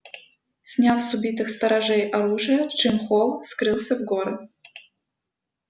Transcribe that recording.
сняв с убитых сторожей оружие джим холл скрылся в горы